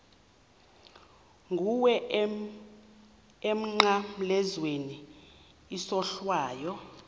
kuwe emnqamlezweni isohlwayo